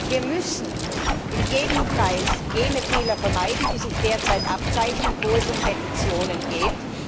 Wir müssen um jeden Preis jene Fehler vermeiden, die sich derzeit abzeichnen, wo es um Petitionen geht.